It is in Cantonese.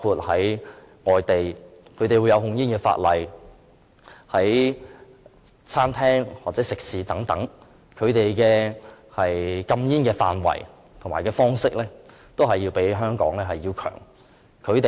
在外地的控煙法例下，餐廳或食肆等處所的禁煙範圍和方式都要較香港多而全面。